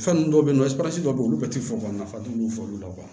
Fɛnnin dɔw bɛ yen nɔ dɔw bɛ yen olu bɛ tɛ fɔ ka nafa tɛ olu fɔ olu la